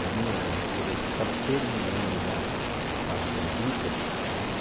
Na minha juventude, estava terminando já a fase dos Beatles né.